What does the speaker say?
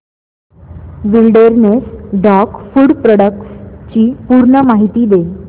wilderness dog food products ची पूर्ण माहिती दे